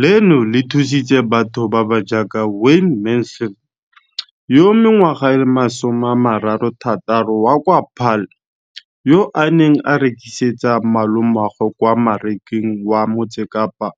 leno le thusitse batho ba ba jaaka Wayne Mansfield, 33, wa kwa Paarl, yo a neng a rekisetsa malomagwe kwa Marakeng wa Motsekapa